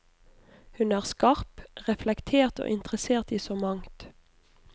Hun er skarp, reflektert og interessert i så mangt.